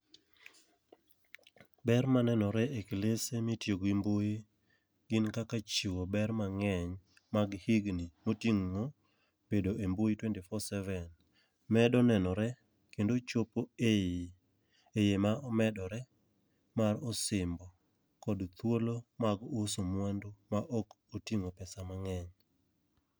Ber manenore e klese mitiyo gi mbui gin kaka chiwo ber mang'eny mag higni moting'o bedo e mbui twenty four seven, medo nenore kendo chopo eiye ma omedore ma osimbo kod thuolo mag uso mwandu ma ok oting'o pesa mang'eny.